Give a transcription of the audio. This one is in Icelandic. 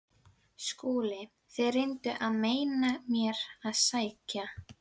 SKÚLI: Þér reynduð að meina mér að sækja